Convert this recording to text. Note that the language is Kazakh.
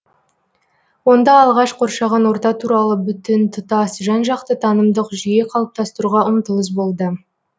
онда алғаш қоршаған орта туралы бүтін тұтас жан жақты танымдық жүйе қалыптастыруға ұмтылыс болды